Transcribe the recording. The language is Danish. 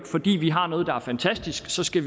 fordi vi har noget der er fantastisk så skal